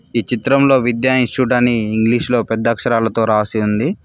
ఈ చిత్రంలో విద్య ఇన్స్టిట్యూట్ అని ఇంగ్లీషులో పెద్ద అక్షరాలతో రాసి ఉంది.